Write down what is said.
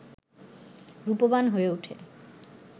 রূপবান হয়ে ওঠে